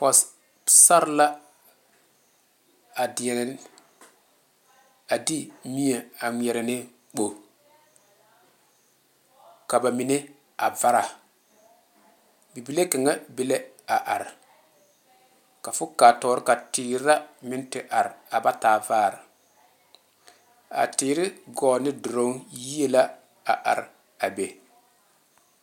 Pɔgesera la a deɛ a de mie a ŋmeɛrɛ ne kpo ka ba mine a vari bibile kaŋa be lɛ a are ka fo kaa tɔɔre ka teere la meŋ te are aba taa vaare a teere gɔɔ ne dulɔ yie la a are a be.